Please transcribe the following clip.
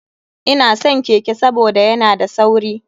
Ina san keke saboda yana da sauri.